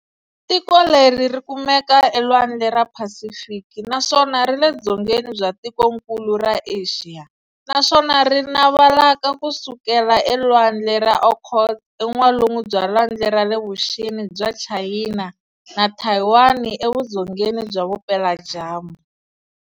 Tiko leri rikumeka elwandle ra Phasifiki, naswona rile dzongeni bya tikonkulu ra Axiya, naswona ri navalaka kusukela elwandle ra Okhotsk e n'walungu bya lwandle ra le vuxeni bya Chayina na Thayiwani e vudzongeni bya vupela dyambu.